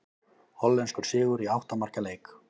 Hollenskur sigur í átta marka leik